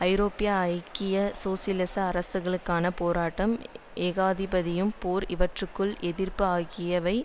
ஐரோப்பிய ஐக்கிய சோசியலிச அரசுககளுக்கான போராட்டம் ஏகாதிபத்தியம் போர் இவற்றுக்கு எதிர்ப்பு ஆகியவை